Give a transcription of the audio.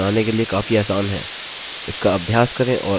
जैसा कि आपने देखा यह बनाने के लिए काफी आसान है